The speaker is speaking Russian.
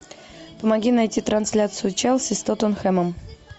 помоги найти трансляцию челси с тоттенхэмом